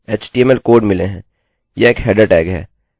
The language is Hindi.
यह एक हेडरheader टैगtag है मैं welcome लिख रहा हूँ